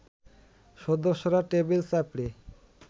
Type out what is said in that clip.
সদস্যরা টেবিল চাপড়ে